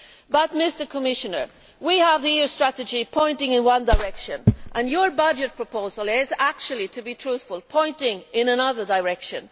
But, Mr Commissioner, we have the EU strategy pointing in one direction, and your budget proposal is, to be truthful, pointing in another direction.